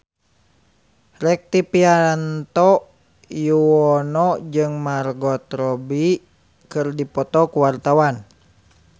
Rektivianto Yoewono jeung Margot Robbie keur dipoto ku wartawan